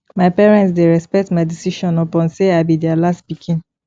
my parents dey respect my decisions upon sey i be their last pikin